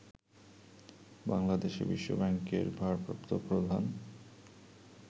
বাংলাদেশে বিশ্বব্যাংকের ভারপ্রাপ্ত প্রধান